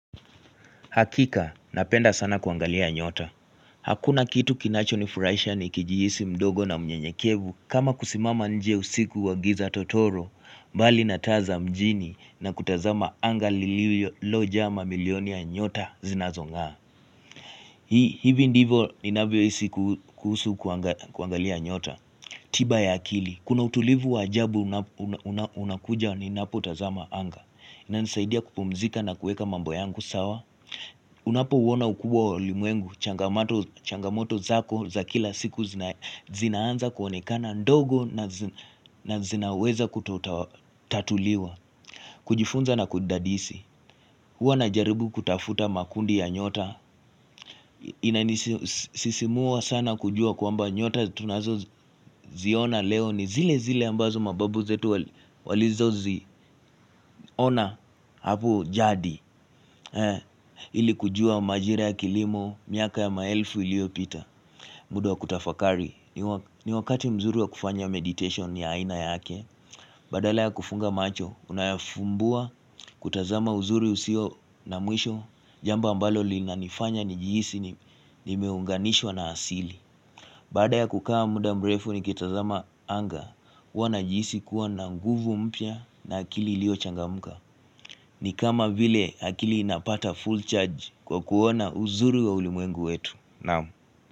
Hakika, napenda sana kuangalia nyota. Hakuna kitu kinacho nifuraisha ni kijihisi mdogo na mnyenyekevu kama kusimama nje usiku wa giza totoro, mbali na taa za mjini na kutazama anga lilojama milioni ya nyota zinazongaa. Hii, hivi ndivo inavyo isi kuhusu kuangalia nyota. Tiba ya akili, kuna utulivu wajabu unakuja ni napotazama anga na nisaidia kupumzika na kueka mambo yangu sawa. Unapo uona ukubwa olimuengu changamoto zako za kila siku zinaanza kuwanekana ndogo na zinaweza kutatuliwa kujifunza na kudadisi hua na jaribu kutafuta makundi ya nyota Inanisimua sana kujua kwa mba nyota tunazo ziona leo ni zile zile ambazo mababu zetu walizo ziona hapu jadi He, ili kujua majira ya kilimo, miaka ya maelfu iliopita muda kutafakari, ni wakati mzuri wa kufanya meditation ni aina yake Badala ya kufunga macho, unayafumbua, kutazama uzuri usio na mwisho Jamba mbalo li na nifanya nijijisi nimeunganishwa na asili Badala ya kukawa muda mrefu ni kitazama anga wana jijisi kuwa na nguvu mpya na akili ilio changamuka ni kama vile akili inapata full charge kwa kuona uzuru wa ulimwengu wetu Namu.